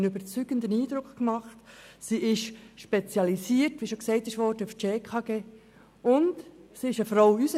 Sie hat einen überzeugenden Eindruck hinterlassen, sie ist aufs SchKG spezialisiert – wie bereits erwähnt –, und sie ist eine Frau.